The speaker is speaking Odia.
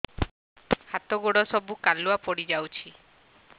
ହାତ ଗୋଡ ସବୁ କାଲୁଆ ପଡି ଯାଉଛି